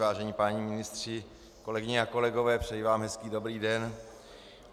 Vážení páni ministři, kolegyně a kolegové, přeji vám hezký dobrý den.